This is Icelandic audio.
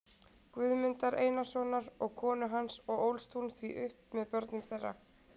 Guðmundar Einarssonar og konu hans og ólst hún því upp með börnum þeirra.